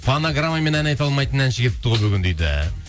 фонограммамен ән айта алмайтын әнші келіпті ғой бүгін дейді